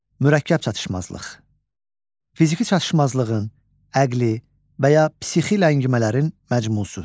Mürəkkəb çatışmazlıq: Fiziki çatışmazlığın, əqli və ya psixi ləngimələrin məcmusu.